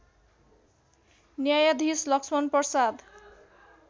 न्यायधीश लक्ष्मण प्रसाद